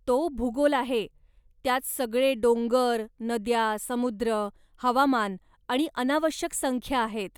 तो भूगोल आहे! त्यात सगळे डोंगर, नद्या, समुद्र, हवामान आणि अनावश्यक संख्या आहेत.